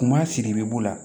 Kuma sigi bɛ b'u la